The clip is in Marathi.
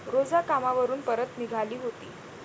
रोझा कामावरून परत निघाली होती.